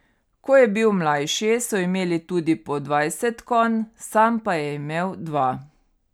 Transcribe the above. Ko je bil mlajši, so imeli tudi po dvajset konj, sam pa je imel dva.